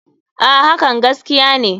A.hakan gaskiya ne.